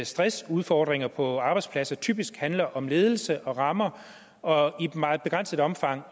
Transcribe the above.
stressudfordringer på arbejdspladser typisk handler om ledelse og rammer og i et meget begrænset omfang